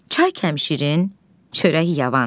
Çay kəmşirin, çörək yavan.